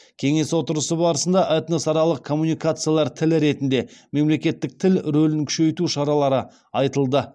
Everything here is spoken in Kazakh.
кеңес отырысы барысында этносаралық коммуникациялар тілі ретінде мемлекеттік тіл рөлін күшейту шаралары айтылды